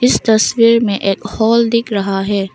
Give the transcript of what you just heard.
इस तस्वीर में एक हॉल दिख रहा है।